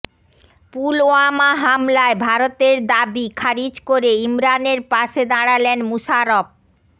পুলওয়ামা হামলায় ভারতের দাবি খারিজ করে ইমরানের পাশে দাঁড়ালেন মুশারফ